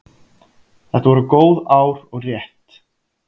Þetta voru góð ár og rétt.